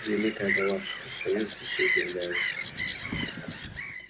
великая галактика стою здесь и удивляюсь